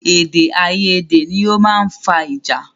Èdè àyedè ni ọ máa ń fa ìjà